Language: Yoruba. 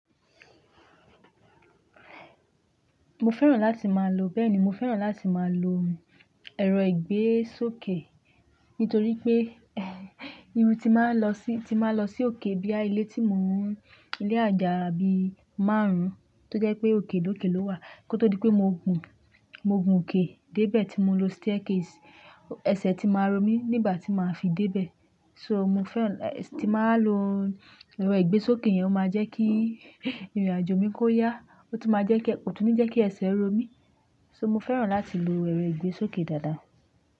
Mo fẹ́ràn láti máa lo, bẹ́ẹ̀ ni, mo fẹ́ràn láti máa lo ẹ̀rọ ìgbésókè, nítorí pé irú ti máa lọ sí, ti máa lọ sí òkè bíi ilé tí mò ń, ilé àjà bí márùn-ún, tó jẹ́ pé òkè lókè ló wà. Kí ó tó di pé mo gùn, mo gùn òkè dé ibẹ̀ tí mò ń lo staircase, ẹsẹ̀ ti máa ń ro mí nígbà tí màá fi dé ibẹ̀. So mo fẹ́ràn, ti máa lo ẹ̀rọ ìgbésókè yẹn, ó máa jẹ́ kí ìrìnàjò mi kó yá, ó tún máa jẹ́ kí, kó tún ní jẹ́ kí ẹsẹ̀ ro mí. So mo fẹ́ràn láti lo ẹ̀rọ ìgbésókè dáadáa.